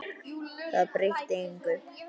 Það breytti engu.